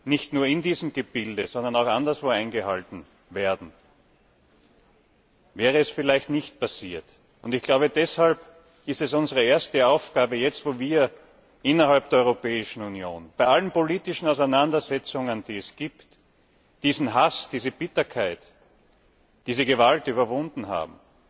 nicht nur in diesem Gebilde, sondern auch anderswo eingehalten werden, wäre das vielleicht nicht passiert. Und deshalb ist es sicherlich unsere erste Aufgabe, jetzt, wo wir innerhalb der Europäischen Union bei allen politischen Auseinandersetzungen, die es gibt diesen Hass, diese Bitterkeit, diese Gewalt überwunden haben,